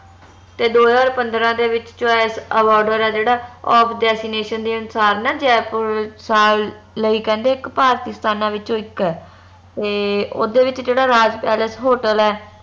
ਤੇ ਦੋ ਹਜਾਰ ਪੰਦਰਾਂ ਦੇ ਵਿਚ choice award ਆ ਜਿਹੜਾ ਦੇ ਅਨੁਸਾਰ ਨਾ ਜੈਪੁਰ ਸਾਲ ਲਈ ਕਹਿੰਦੇ ਭਾਰਤੀ ਸਥਾਨਾਂ ਵਿੱਚੋ ਇਕ ਆ ਤੇ ਓਦੇ ਵਿਚ ਜਿਹੜਾ ਰਾਜ ਪੈਲੇਸ ਹੋਟਲ ਆ